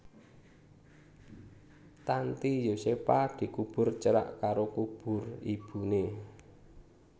Tanty Yosepha dikubur cerak karo kubur ibuné